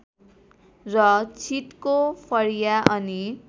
र छिटको फरिया अनि